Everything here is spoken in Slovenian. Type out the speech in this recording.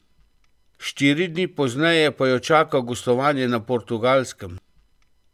Štiri dni pozneje pa jo čaka gostovanje na Portugalskem.